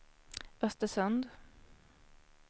Östersund